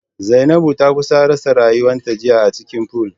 Zainabu ta kusa rasa rayuwarta jiya acikin pool